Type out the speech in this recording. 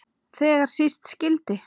Þegar síst skyldi.